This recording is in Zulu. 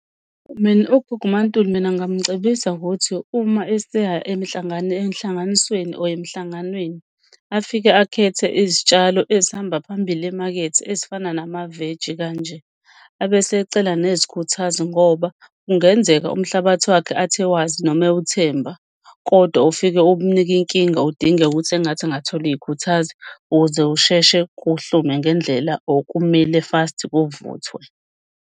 Mina ugogo uMaNtuli, mina ngingamcebisa ngokuthi uma eseya enhlanganisweni or emhlanganweni, afike akhethe izitshalo ezihamba phambili emakethe ezifana namaveji kanje. Abe esecela nezikhuthazo ngoba kungenzeka umhlabathi wakhe athi ewazi noma ewuthemba, kodwa ufike ukunike inkinga. Udingeka ukuthi engathi engatholi iy'khuthazi ukuze usheshe kuhlume ngendlela or kumile fast kuvuthwe.